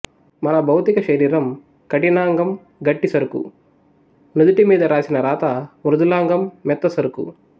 మన భౌతిక శరీరం కఠినాంగం గట్టి సరుకు నుదిటి మీద రాసిన రాత మృదులాంగం మెత్త సరుకు